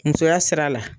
Musoya sira la